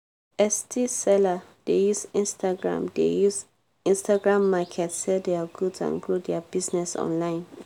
etsy seller dey use instagram dey use instagram market sell dia goods and grow dia business online.